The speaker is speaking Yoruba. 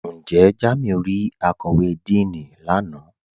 Njẹ́ Jàmíù rí àkọ́wé Díìní lánà?